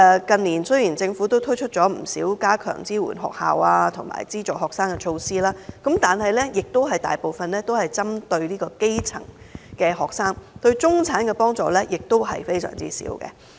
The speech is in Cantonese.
雖然近年政府推出了不少加強支援學校及資助學生的措施，但大部分都是針對基層學生，對中產學生的幫助少之又少。